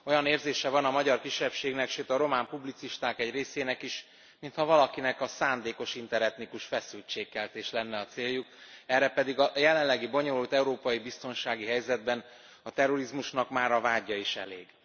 Olyan érzése van a magyar kisebbségnek, sőt a román publicisták egy részének is, mintha valakiknek a szándékos interetnikus feszültségkeltés lenne a céljuk, erre pedig a jelenlegi bonyolult európai biztonsági helyzetben a terrorizmusnak már a vádja is elég.